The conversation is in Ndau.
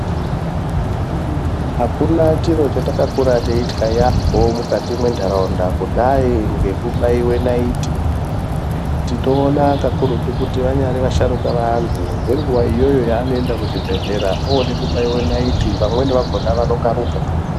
Akuna chiro chetakakura teitya yaamho mukati menharaunda kudai ngekubaiwa naiti. Tinoona kakurutu kuti vanyari vasharuka vantu ngenguwa iyoyo yevanoende kuzvibhedhlera, ode kubaiwe naiti vamweni vakhona vanokaruka.